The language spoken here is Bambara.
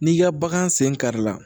N'i ka bagan sen kari la